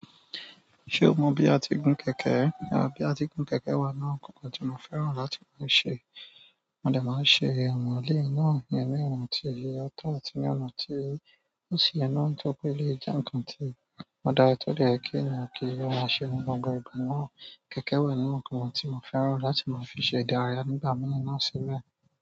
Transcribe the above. Ṣé o mọ bí a ti gun kẹ̀kẹ́? Bí a ti n gun kẹ̀kẹ́ wà nínú áwon nkankan tí mo fẹ́ràn láti máa ṣe. Mo de máa ṣe àwọn eléyi náà iyen ni ọ̀nà tí o tọ́ àti ní ọ̀nà tí ó ṣì ye naá nitọripé eleyi jẹ́ ǹkan tí o dára ti ó dẹ̀ yẹ kí ènìyàn kí ó maa ṣe ní gbogbo ìgbà náà. Kẹ̀kẹ́ wa nínú nkankan ti mo fẹ́ràn láti maa fi se ìdárayá nígbà mii náà sile.